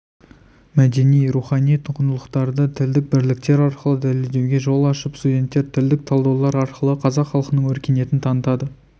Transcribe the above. мәдени-рухани құндылықтарды тілдік бірліктер арқылы дәлелдеуге жол ашып студенттер тілдік талдаулар арқылы қазақ халқының өркениетін танытады